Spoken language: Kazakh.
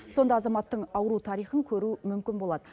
сонда азаматтың ауру тарихын көру мүмкін болады